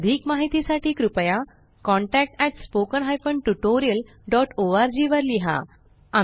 अधिक माहिती साठी कृपया contactspoken tutorialorg वर लिहा